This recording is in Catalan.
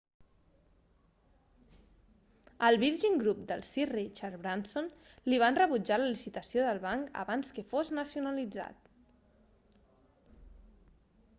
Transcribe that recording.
al virgin group de sir richard branson li van rebutjar la licitació del banc abans que fos nacionalitzat